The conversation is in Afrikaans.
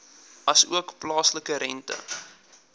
asook plaaslike rente